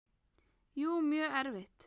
Jú, mjög erfitt.